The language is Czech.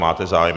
Máte zájem?